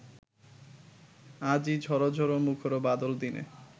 আজি ঝর ঝর মুখর বাদল দিনে